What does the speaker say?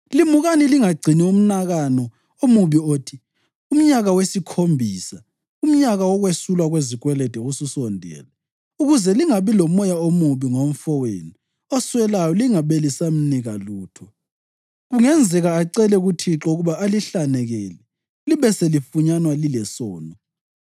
Limukani lingagcini umnakano omubi othi: ‘Umnyaka wesikhombisa, umnyaka wokwesulwa kwezikwelede, ususondele,’ ukuze lingabi lomoya omubi ngomfowenu oswelayo lingabe lisamnika lutho. Kungenzeka acele kuThixo ukuba alihlanekele, libe selifunyanwa lilesono.